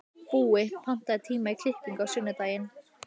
Búi, pantaðu tíma í klippingu á sunnudaginn.